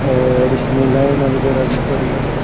और इसमे लाईना वगेराह भी पड़ी है।